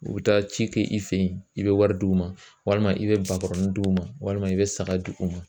U bɛ taa ci kɛ i fɛ yen, i bɛ wari d'u ma , i bɛ bakɔrɔnin d'u ma ,walima i bɛ saga d'u ma.